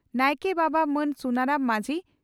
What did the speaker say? ᱱᱟᱭᱠᱮ ᱵᱟᱵᱟ ᱢᱟᱱ ᱥᱩᱱᱟᱨᱟᱢ ᱢᱟᱡᱷᱤ